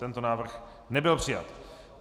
Tento návrh nebyl přijat.